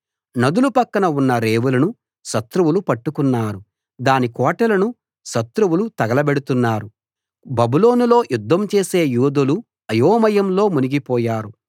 నదుల పక్కన ఉన్న రేవులను శత్రువులు పట్టుకున్నారు దాని కోటలను శత్రువులు తగలబెడుతున్నారు బబులోనులో యుద్ధం చేసే యోధులు అయోమయంలో మునిగిపోయారు